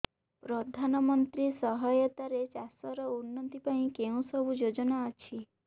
ପ୍ରଧାନମନ୍ତ୍ରୀ ସହାୟତା ରେ ଚାଷ ର ଉନ୍ନତି ପାଇଁ କେଉଁ ସବୁ ଯୋଜନା ଅଛି